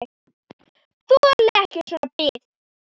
Þoli ekki svona bið.